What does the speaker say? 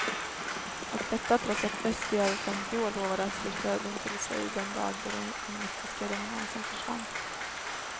Och detta trots att väst i över femtio år lovade att sluta dem till sig den dag då den kommunistiska dominansen försvann.